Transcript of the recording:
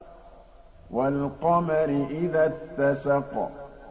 وَالْقَمَرِ إِذَا اتَّسَقَ